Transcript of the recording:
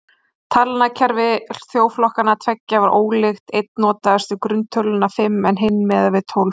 Talnakerfi þjóðflokkanna tveggja var ólíkt, einn notaðist við grunntöluna fimm en hinn miðaði við tólf.